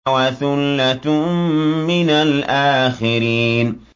وَثُلَّةٌ مِّنَ الْآخِرِينَ